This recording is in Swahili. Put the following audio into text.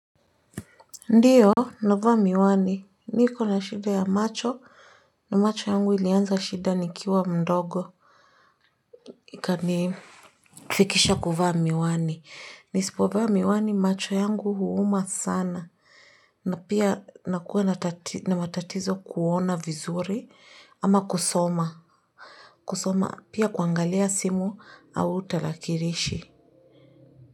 Ndiyo navaa miwani niko na shida ya macho na macho yangu ilianza shida nikiwa mdogo. Ikanifikisha kuvaa miwani nisipovaa miwani macho yangu huuma sana na pia nakuwa na matatizo kuona vizuri ama kusoma. Kusoma pia kuangalia simu au tarakilishi.